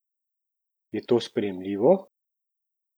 Je to sprejemljivo?